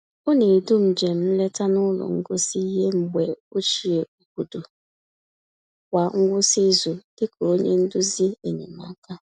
Ọ na-edu njem nleta n’ụlọ ngosi ihe mgbe ochie obodo kwa ngwụsị izu dị ka onye nduzi enyemaka.